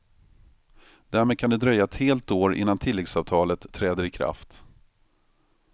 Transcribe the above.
Därmed kan det dröja ett helt år innan tilläggsavtalet träder i kraft.